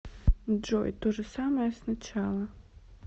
джой то же самое с начала